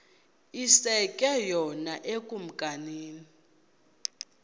iske yona ekumkeni